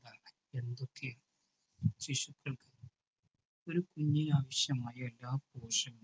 ശിശുക്കൾ. ഒരു കുഞ്ഞിനാവശ്യമായ എല്ലാ പോഷകങ്